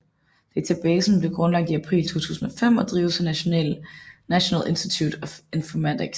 Databasen blev grundlagt i april 2005 og drives af National Institute of Informatics